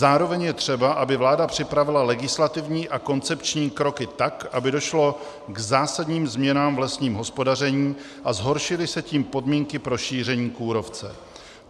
Zároveň je třeba, aby vláda připravila legislativní a koncepční kroky tak, aby došlo k zásadním změnám v lesním hospodaření a zhoršily se tím podmínky pro šíření kůrovce.